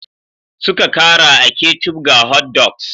Suka kara kecup ga hotdogs.